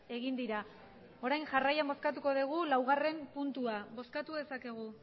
egin dira orain jarrian bozkatuko dugu laugarren puntua bozkatu dezakegu